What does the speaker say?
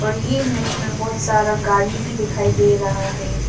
ये इमेज में बहुत सारा गाड़ी भी दिखाई दे रहा है।